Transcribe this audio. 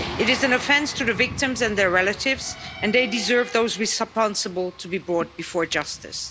It is an offense to the victims and their relatives, and they deserve those responsible to be brought to justice.